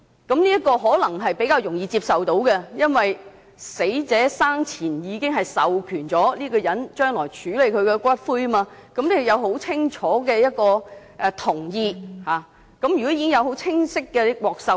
這可能比較容易接受，因為死者生前已經授權這人將來處理他的骨灰，有很清晰的同意和授權。